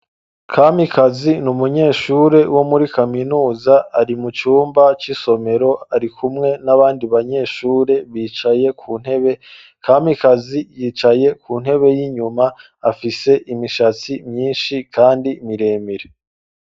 Kamikazi ni umunyeshure wo muri kaminuza ari mu cumba c'isomero ari kumwe n'abandi banyeshure bicaye ku ntebe. Kamikazi yicaye ku ntebe y'inyuma afise imishatsi myishi kandi miremire.